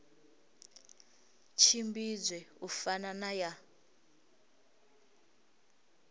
tshimbidzwe u fana na ya